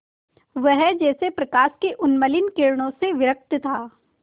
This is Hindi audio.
वह जैसे प्रकाश की उन्मलिन किरणों से विरक्त था